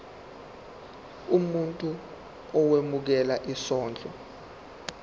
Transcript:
umuntu owemukela isondlo